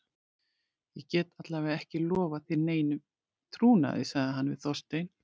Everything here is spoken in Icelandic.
Ég get alla vega ekki lofað þér neinum trúnaði- sagði hann við Þorstein.